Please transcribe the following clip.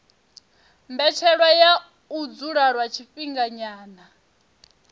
mbetshelwa ya u dzula lwa tshifhinganyana